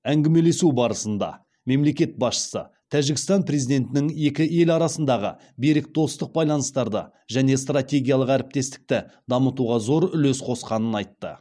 әңгімелесу барысында мемлекет басшысы тәжікстан президентінің екі ел арасындағы берік достық байланыстарды және стратегиялық әріптестікті дамытуға зор үлес қосқанын айтты